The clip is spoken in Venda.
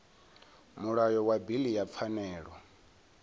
mulayo wa bili ya pfanelo